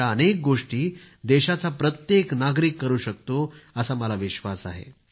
अशा अनेक गोष्टी देशाचा प्रत्येक नागरिक करू शकतो असा मला विश्वास आहे